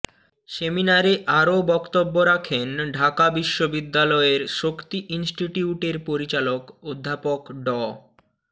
সেমিনারে আরও বক্তব্য রাখেন ঢাকা বিশ্ববিদ্যালয়ের শক্তি ইনস্টিটিউটের পরিচালক অধ্যাপক ড